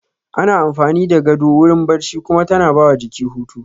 Ana amfani da gado wurin barci kuma tana ba wa jiki hutu